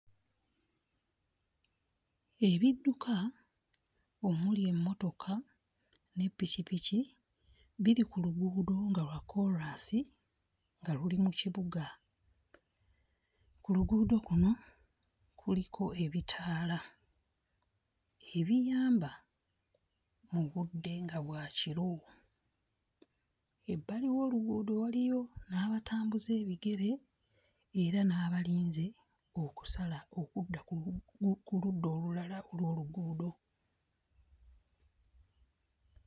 Ebidduka omuli emmotoka ne ppikipiki biri ku luguudo nga lwa kkoolaasi nga luli mu kibuga. Ku luguudo kuno kuliko ebitaala ebiyamba mu budde nga bwa kiro. Ebbali w'oluguudo waliyo n'abatambuza ebigere era n'abalinze okusala okudda ku lu... ku ludda olulala olw'oluguudo.